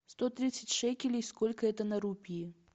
сто тридцать шекелей сколько это на рупии